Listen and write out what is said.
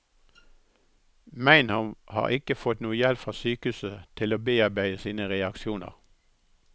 Meinhov har ikke fått noe hjelp fra sykehuset til å bearbeide sine reaksjoner.